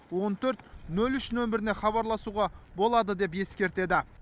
он төрт нөл үш нөміріне хабарласуға болады деп ескертеді